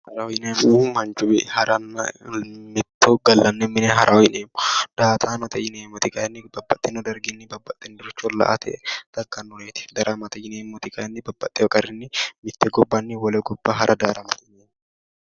haraho yineemmohu mitto gallanni mine haraho yineemmo daa''ataanote yineemmori kayiinni babbaxitino darginni babbaxinoricho la''ate daggannoreeti daramate yineemmori kayiinni babbaxewo qarrinni mitte gobbanni wole gobba harate.